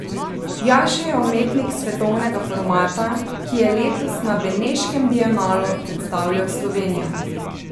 Jaša je umetnik svetovnega formata, ki je letos na beneškem bienalu predstavljal Slovenijo.